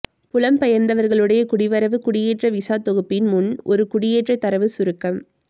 புலம்பெயர்ந்தவர்களுடைய குடிவரவு குடியேற்ற விசா தொகுப்பின் முன் ஒரு குடியேற்றத் தரவு சுருக்கம்